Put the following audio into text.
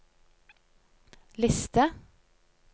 liste